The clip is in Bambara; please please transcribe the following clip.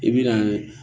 I bi na ye